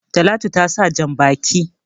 Talatu ta sa jan-baki.